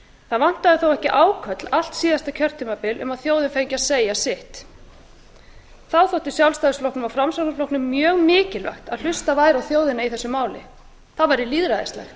það vantaði þó ekki áköll allt síðasta kjörtímabil um að þjóðin fengi að segja sitt þá þótti sjálfstæðisflokknum og framsóknarflokknum mjög mikilvægt að hlustað væri á þjóðina í þessu máli það væri lýðræðislegt